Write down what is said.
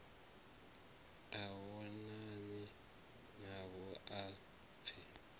a vhonane navho a pfe